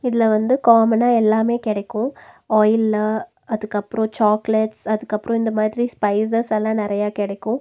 இதுல வந்து காமனா எல்லாமே கெடைக்கு ஆயிலு அதுகப்றோ சாக்லேட்ஸ் அதுகப்றோ இந்த மாதிரி ஸ்பைசஸ் எல்லா நெறைய கெடைக்கு.